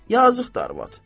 Yazıqdır arvad.